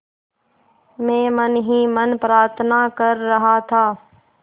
मैं मन ही मन प्रार्थना कर रहा था